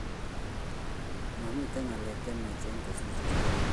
Mamiten ngalek che miach kosiir chu